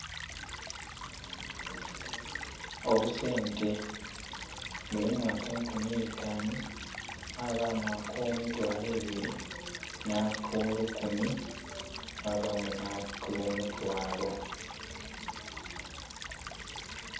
Obusente. Mulimu akenkumi eitanu mwabamu ake mitwalo ebiri, na kolukumi, mwabamu nha ko mutwalo.